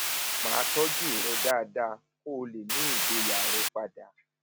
máa tọjú rẹ dáadáa kó o lè ní ìgboyà rẹ padà